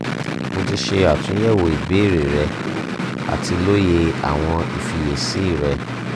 mo ti ṣe atunyẹwo ibeere rẹ ati loye awọn ifiyesi rẹ